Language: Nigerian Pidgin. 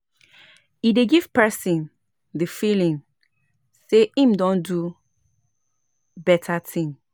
E dey give person di feeling sey im don do better thing